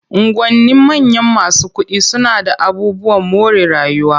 Unguwannin manyan masu kuɗi suna d aabubuwan more rayuwa.